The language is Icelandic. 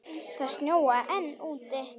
Það snjóaði enn úti.